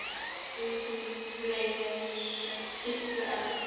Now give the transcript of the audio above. Enginn gleymir Siggu ömmu.